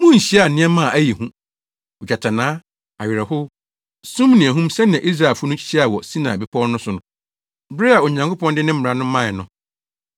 Munhyiaa nneɛma a ɛyɛ hu, ogyatannaa, awerɛhow, sum ne ahum sɛnea Israelfo no hyiaa wɔ Sinai Bepɔw no so bere a Onyankopɔn de ne mmara no mae no.